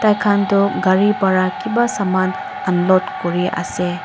khan toh gari para kipa saman unload kuriase.